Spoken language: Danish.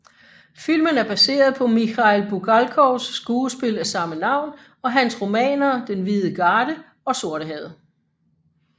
Filmen er baseret på Mikhail Bulgakovs skuespil af samme navn og hans romaner Den hvide garde og Sortehavet